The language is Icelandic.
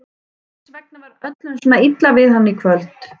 Hvers vegna var öllum svona illa við hann í kvöld?